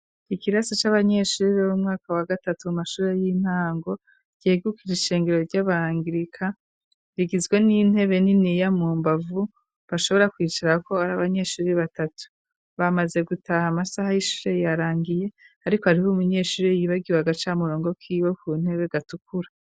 Ikirasi c'abanyeshuri b'bu mwaka wa gatatu mu mashure y'intango riegukije ishengero ry'abangirika rigizwe n'intebe nini ya mu mbavu bashobora kwicarako ari abanyeshuri batatu bamaze gutaha amasaha y'ishuse yarangiye, ariko ariho uminyeshuri yibagiwe agaca murongo kiwe ku ntebe gatukura.